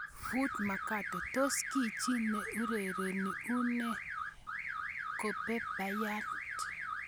[Foot Mercato] Tos ki chi ne urereni ne une Kobe Bryant?